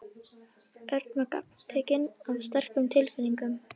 Örn var gagntekinn af sterkum tilfinningum.